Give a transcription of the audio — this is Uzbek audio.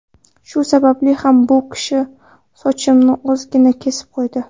Shu sababli ham u kishi sochimni ozgina kesib qo‘ydi.